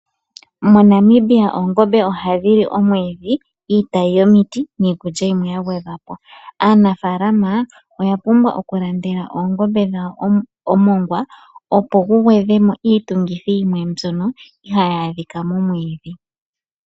MoNamibia oongombe ohadhi li omwiidhi, iitayi yomiti, niikulya yimwe yagwedhwapo. Aanafalama oya pumbwa oku landela oongombe dhawo omoongwa opo gu gwedhemo iitungithi yimwe mbyono ihayi adhika momwiidhi.